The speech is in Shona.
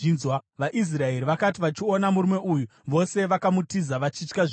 VaIsraeri vakati vachiona murume uyu, vose vakamutiza vachitya zvikuru.